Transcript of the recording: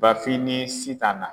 Bafin nii Sitan na